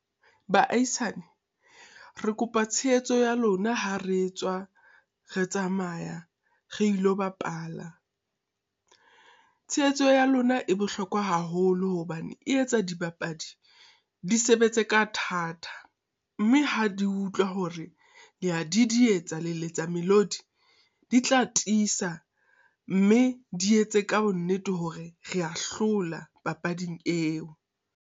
Baahisane, re kopa tshehetso ya lona ha re etswa re tsamaya re lo bapala. Tshehetso ya lona e bohlokwa haholo, hobane e etsa dibapadi di sebetse ka thata. Mme ha di utlwa hore lea didietsa, le letsa melodi. Di tla tisa, mme di etse ka bonnete hore rea hlola papading eo.